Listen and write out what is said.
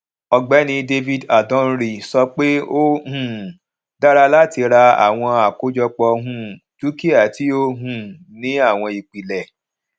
ọgbẹni david adonri sọ pé ó um dára láti ra àwọn àkójọpọ um dúkíà tí ó um ní àwọn ìpìlẹ